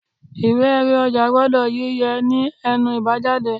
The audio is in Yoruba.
Ìwé erí ọjà gbọ́dọ̀ yí yẹ̀ ní ẹnu ibajade